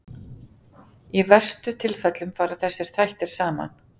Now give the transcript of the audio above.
Í verstu tilfellum fara þessir þættir saman.